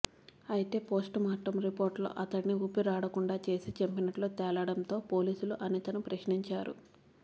అయితే పోస్టుమార్టం రిపోర్టులో అతడిని ఊపిరాడకుండా చేసి చంపినట్లు తేలడంతో పోలీసులు అనితను ప్రశ్నించారు